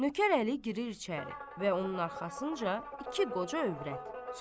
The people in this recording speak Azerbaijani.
Nökər Əli girir içəri və onun arxasınca iki qoca övrət.